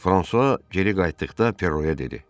Fransua geri qayıtdıqda Perroya dedi: